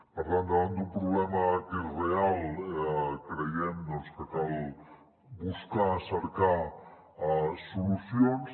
per tant davant d’un problema que és real creiem que cal buscar cercar solucions